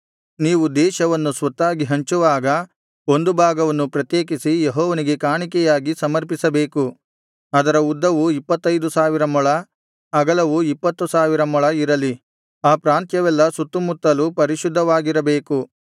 ನೀವು ದೇಶವನ್ನು ಸ್ವತ್ತಾಗಿ ಹಂಚುವಾಗ ಒಂದು ಭಾಗವನ್ನು ಪ್ರತ್ಯೇಕಿಸಿ ಯೆಹೋವನಿಗೆ ಕಾಣಿಕೆಯಾಗಿ ಸಮರ್ಪಿಸಬೇಕು ಅದರ ಉದ್ದವು ಇಪ್ಪತ್ತೈದು ಸಾವಿರ ಮೊಳ ಅಗಲವು ಇಪ್ಪತ್ತು ಸಾವಿರ ಮೊಳ ಇರಲಿ ಆ ಪ್ರಾಂತ್ಯವೆಲ್ಲಾ ಸುತ್ತುಮುತ್ತಲು ಪರಿಶುದ್ಧವಾಗಿರಬೇಕು